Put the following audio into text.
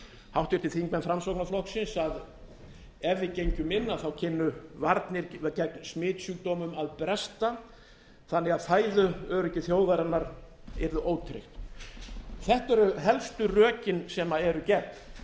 háttvirtir þingmenn framsóknarflokksins að ef við gengjum inn kynnu varnir gegn smitsjúkdómum að bresta þannig að fæðuöryggi þjóðarinnar yrði ótryggt þetta eru helstu rökin sem eru gegn